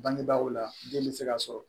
Bangebaaw la den be se ka sɔrɔ